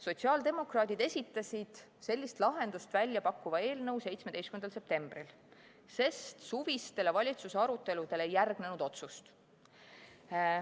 Sotsiaaldemokraadid esitasid sellist lahendust väljapakkuva eelnõu 17. septembril, sest suvistele valitsuse aruteludele ei järgnenud otsust.